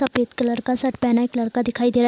सफेद कलर का शर्ट पहना एक लड़का दिखाई दे रहा है |